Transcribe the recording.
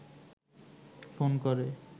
phone করে